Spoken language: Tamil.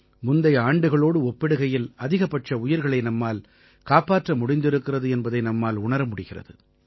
முந்தைய ஆண்டுகளோடு ஒப்பிடுகையில் அதிகபட்ச உயிர்களை நம்மால் காப்பாற்ற முடிந்திருக்கிறது என்பதை நம்மால் உணர முடிகிறது